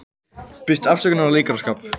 Biðst afsökunar á leikaraskap